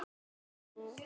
Veit það nokkur maður?